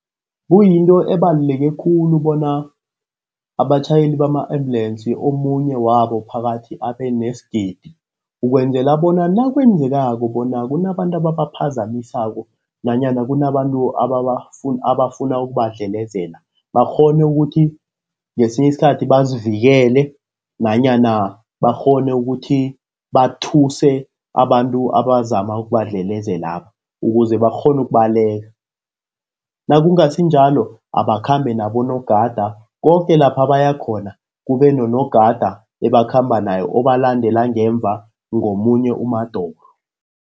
Kuyinto ebaluleke khulu bona abatjhayeli bama ambulensi omunye wabo phakathi abe nesigidi. Ukwenzela bona nakwenzekako bona kunabantu ababaphazamisako nanyana kunabantu abafuna ukubadlelezela. Bakghone ukuthi ngesinye isikhathi bazivikele nanyana bakghone ukuthi bathuse abantu abazama ukubadlelezelaba. Ukuze bakghone ukubalekela, nakungasinjalo abakhambe nabonogada koke lapha baya khona, kube nonogada ebakhamba naye obalandela ngemuva ngomunye umadoro.